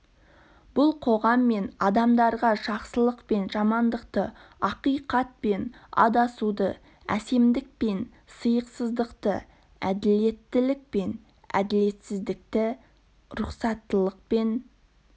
бұл қоғам мен адамдарға жақсылық пен жамандықты ақиқат пен адасуды әсемдік пен сиықсыздықты әділеттілік пен әділетсіздікті рұқсаттылық пен